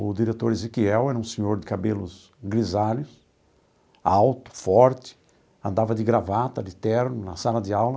O diretor Ezequiel era um senhor de cabelos grisalhos, alto, forte, andava de gravata, de terno, na sala de aula.